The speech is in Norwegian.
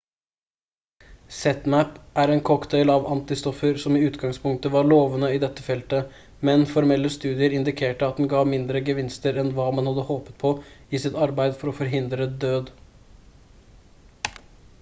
zmapp er en cocktail av antistoffer som i utgangspunktet var lovende i dette feltet men formelle studier indikerte at den gav mindre gevinster enn hva man hadde håpet på i sitt arbeid for å forhindre død